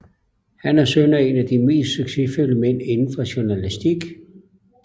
Han er søn af en af de mest succesfulde mænd indenfor journalastik